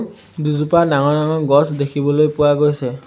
দুজোপা ডাঙৰ ডাঙৰ গছ দেখিবলৈ পোৱা গৈছে।